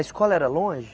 A escola era longe?